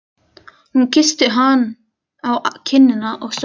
Hún kyssti hann á kinnina og stóð upp.